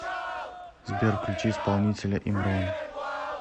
сбер включи исполнителя имрон